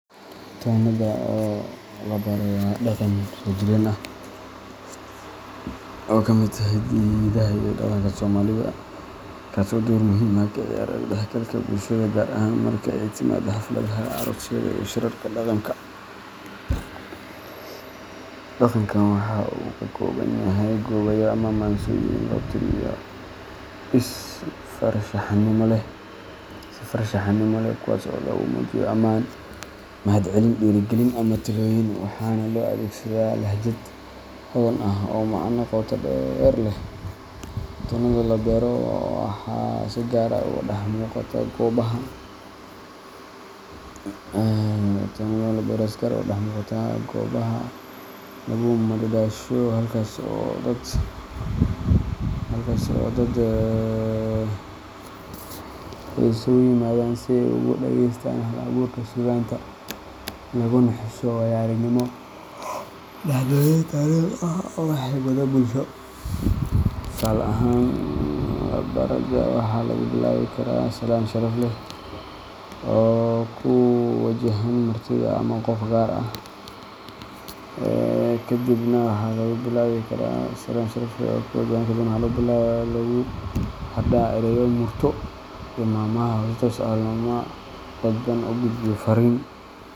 Tonnada oo labaro waa dhaqan soojireen ah oo ka mid ah hiddaha iyo dhaqanka Soomaalida, kaas oo door muhiim ah ka ciyaara isdhexgalka bulshada, gaar ahaan marka ay timaado xafladaha, aroosyada, ama shirarka dhaqanka. Dhaqankan waxa uu ka kooban yahay gabayo ama maansooyin loo tiriyo si farshaxanimo leh, kuwaas oo lagu muujiyo amaan, mahadcelin, dhiirrigelin, ama talooyin, waxaana loo adeegsadaa lahjad hodan ah oo macne qoto dheer leh. Tonnada oo labaro waxa ay si gaar ah uga dhex muuqataa goobaha lagu madadaasho, halkaas oo dadku ay isugu yimaadaan si ay ugu dhegaystaan hal-abuurka suugaanta, laguna xuso waayo-aragnimo, dhacdooyin taariikhi ah, ama xigmado bulsho. Tusaale ahaan, labarada waxaa lagu bilaabi karaa salaan sharaf leh oo ku wajahan martida ama qof gaar ah, kaddibna waxaa lagu xardhaa ereyo murti iyo maahmaah leh oo si toos ah ama dadban u gudbinaya fariin.